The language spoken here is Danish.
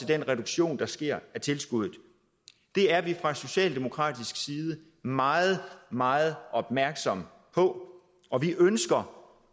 den reduktion der sker af tilskuddet det er vi fra socialdemokratisk side meget meget opmærksomme på og vi ønsker